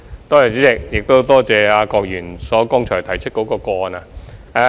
代理主席，多謝郭議員剛才提出的個案。